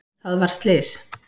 Það varð slys.